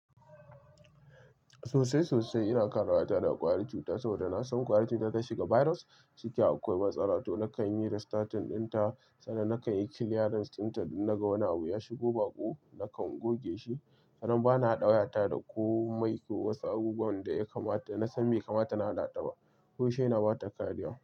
Sosai sosai ina ƙara wayata da ƙwari cuta saboda na san ƙwari cuta ta shiga virus ciki akwai matsala to nakan yi restating ɗinta, sanda nakan yi clearance ɗinta na ga wani abu ya shigo baƙo nakan goge shi. Sannan bana ɗaura ta da komai, ko wasu abubuwan da ya kamata na san mai kamata na haɗa ta ba. Ko shi yana ba ta kariya.